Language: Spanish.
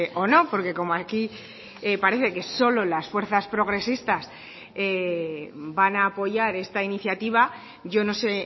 o no porque como aquí parece que solo las fuerzas progresistas van a apoyar esta iniciativa yo no sé